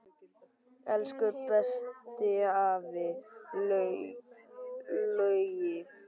Elsku besti afi Laugi.